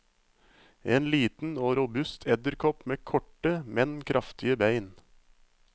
En liten og robust edderkopp med korte, men kraftige bein.